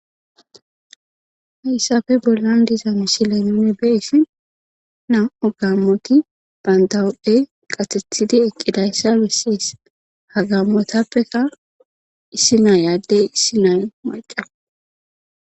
hayssafe bollan diza mishiley nuni be issi nam7o gammoti bandawodhdhe qasethidi eqqidayssa bessis ha gammotappeka issi naa yaaddey issi nay maqa